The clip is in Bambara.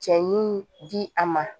Cɛ ɲun di a ma